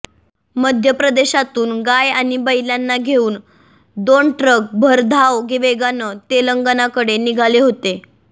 मध्यप्रदेशातून गाय आणि बैलांना घेऊन दोन ट्रक भरधाव वेगानं तेलंगणाकडे निघाले होते